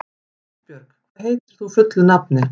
Ásbjörg, hvað heitir þú fullu nafni?